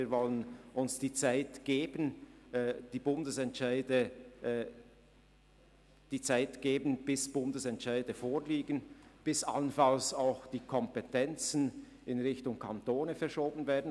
Wir wollen uns die Zeit geben, bis Bundesentscheide vorliegen und allenfalls auch die Kompetenzen in Richtung der Kantone verschoben werden.